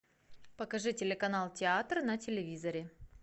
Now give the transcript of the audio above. покажи телеканал театр на телевизоре